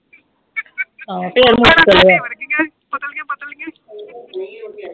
ਪਤਲੀਆਂ ਪਤਲੀਆਂ